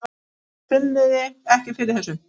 Finnið þið ekki fyrir þessu?